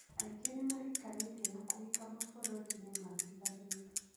Aingĩ nĩ mahikanĩtie na kũhika mabũrũri-inĩ matiganĩte.